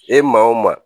E maa o maa